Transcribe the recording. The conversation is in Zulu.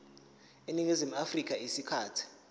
eningizimu afrika isikhathi